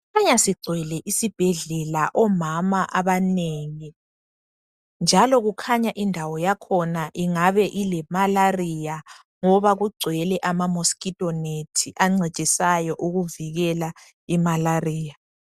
Kukhanya sigcwele isibhedlela omama abanengi .Njalo kukhanya indawo yakhona ingabe ile malaria ngoba kugcwele ama mosquito nets ancedisayo ukuvikela imalaria .